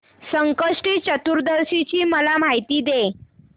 संकष्टी चतुर्थी ची मला माहिती दे